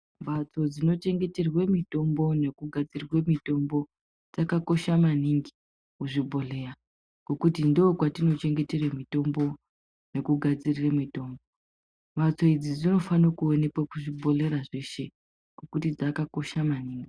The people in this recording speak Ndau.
Mhatso dzinochengeterwe mitombo nekugadzirwe mitombo dzakakosha maningi muzvibhodhleya. Ngekuti ndokwatinochengetere mitombo nekugadzirire mitombo. Mhatso idzi dzinofanire kuonekwa kuzvibhodhlera zveshe nekuti dzakakosha maningi.